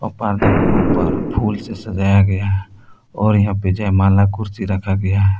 पर्दा के ऊपर फूल से सजाया गया है और यहां पे जयमाला कुर्सी रखा गया है।